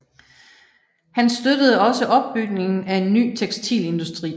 Han støttede også opbygningen af en ny tekstilindustri